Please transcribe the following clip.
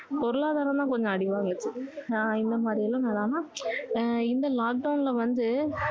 பொருளாதாரம் தான் கொஞ்சம் அடி வாங்கிச்சு ஆஹ் இந்த மாதிரி எல்லாம் நம்ம ஆஹ் இந்த lockdown ல வந்து